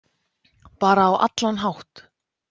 Bara á allan hátt.